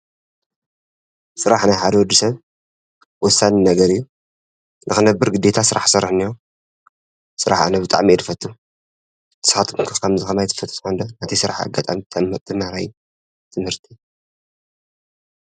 ስራሕ ንሓደ ወዲ ሰብ ወሳኒ ነገር እዩ፡፡ ንኽነብር ግደታ ስራሕ ክሰርሕ እንሄዎ፡፡ ስራሕ ኣነ ብጣዕሚ እየ ዝፈቱ፡፡ ንስከትኩም ከ ከምዚ ከማይ ትፈትዉ ትኮኑ ዶ? ናተይ ስራሕ ኣጋጣሚ ተምሃራይ እዩ ብትምህርቲ።